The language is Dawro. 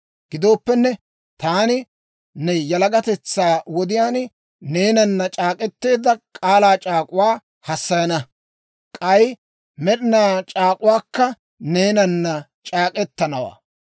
Gidooppenne, Taani ne yalagatetsaa wodiyaan neenana c'aak'k'eteedda k'aalaa c'aak'uwaa hassayana; k'ay med'inaa c'aak'uwaakka neenana c'aak'k'etanawaa.